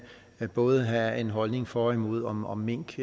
både have en holdning for og imod om om mink